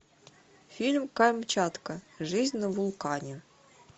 фильм камчатка жизнь на вулкане